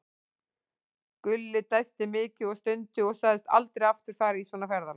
Gulli dæsti mikið og stundi og sagðist aldrei aftur fara í svona ferðalag.